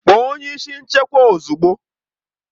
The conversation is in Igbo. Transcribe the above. Kpọọ onye isi nchekwa ozugbo!